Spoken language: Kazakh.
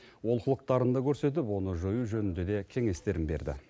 олқылықтарын да көрсетіп оны жою жөнінде де кеңестерін берді